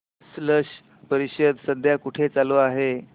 स्लश परिषद सध्या कुठे चालू आहे